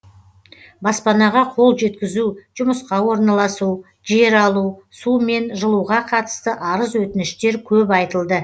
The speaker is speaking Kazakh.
баспанаға қол жеткізу жұмысқа орналасу жер алу су мен жылуға қатысты арыз өтініштер көп айтылды